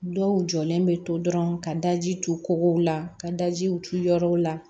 Dɔw jɔlen bɛ to dɔrɔn ka daji to kɔgɔw la ka dajiw turu yɔrɔw la